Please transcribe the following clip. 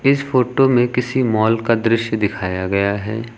इस फोटो में किसी मॉल का दृश्य दिखाया गया है।